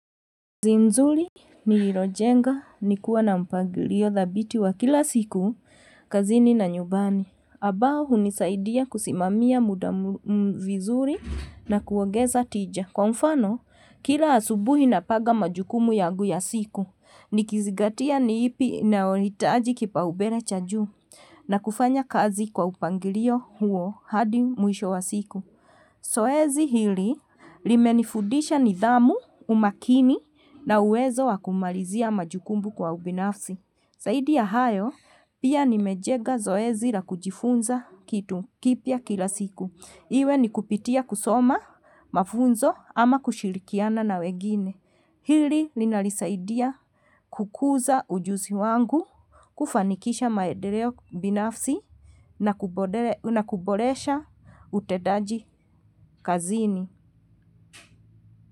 Nzuri nililojenga nikuwa na mpangilio dhabiti wakila siku kazini na nyumbani. Ambao huni saidia kusimamia muda vizuri na kuongeza tija. Kwa mfano, kila asubuhi napanga majukumu yangu ya siku. Nikizingatia ni ipi inayohitaji kipa umbele cha juu, na kufanya kazi kwa upangilio huo hadi mwisho wa siku. Zoezi hili li menifudisha nidhamu umakini na uwezo wa kumalizia majukumu kwa ubinafsi. Zaidiya hayo pia ni mejenga zoezi la kujifunza kitu, kipya kila siku. Iwe ni kupitia kusoma, mafunzo ama kushirikiana na wengine. Hili lina nisaidia kukuza ujuzi wangu, kufanikisha maendeleo binafsi na kuboresha utendaji kazini.